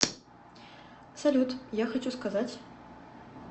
салют я хочу сказать